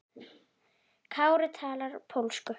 Kári talar pólsku.